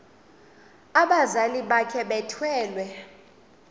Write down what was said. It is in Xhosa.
abazali bakhe bethwele